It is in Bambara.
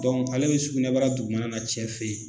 ale bɛ sugunɛbara dugumana na cɛ fɛ yen